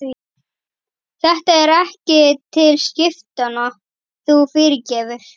Þetta er ekki til skiptanna, þú fyrirgefur.